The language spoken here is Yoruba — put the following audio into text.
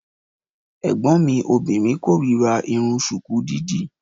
Ẹ̀gbọ́n mi obìnrin kórira Irun ṣùkú dídì.